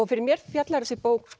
fyrir mér fjallar þessi bók